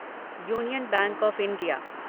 union bank of India